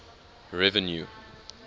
revenue